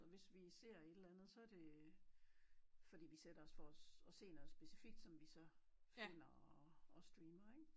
Og hvis vi ser et eller andet så er det fordi vi sætter os for at se noget specifikt som vi så finder og streamer ik